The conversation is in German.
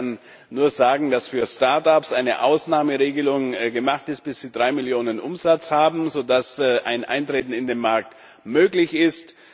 Aber ich kann nur sagen, dass für Start ups eine Ausnahmeregelung gemacht wird, bis sie drei Millionen Umsatz haben, sodass ein Eintreten in den Markt möglich ist.